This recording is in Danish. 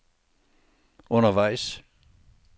undervejs